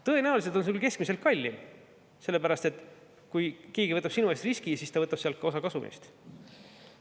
Tõenäoliselt on see keskmiselt kallim, sellepärast et kui keegi võtab sinu eest riski, siis ta võtab ka osa kasumist.